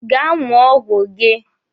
Gaa ṅụọ ọgwụ gị!